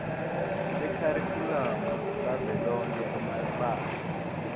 sekharikhulamu savelonkhe emabanga